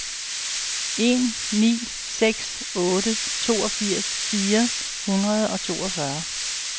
en ni seks otte toogfirs fire hundrede og toogfyrre